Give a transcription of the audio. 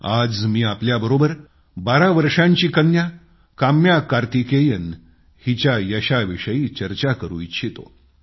आज मी आपल्याबरोबर बारा वर्षांची कन्या काम्या कार्तिकेयन हिच्या यशाविषयी चर्चा करू इच्छितो